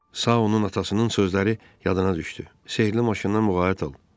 Sağ onun atasının sözləri yadına düşdü: Sehrli maşından muğayat ol!